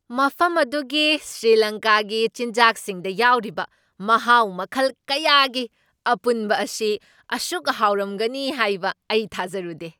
ꯃꯐꯝ ꯑꯗꯨꯒꯤ ꯁ꯭ꯔꯤꯂꯪꯀꯥꯒꯤ ꯆꯤꯟꯖꯥꯛꯁꯤꯡꯗ ꯌꯥꯎꯔꯤꯕ ꯃꯍꯥꯎ ꯃꯈꯜ ꯀꯌꯥꯒꯤ ꯑꯄꯨꯟꯕ ꯑꯁꯤ ꯑꯁꯨꯛ ꯍꯥꯎꯔꯝꯒꯅꯤ ꯍꯥꯏꯕ ꯑꯩ ꯊꯥꯖꯔꯨꯗꯦ ꯫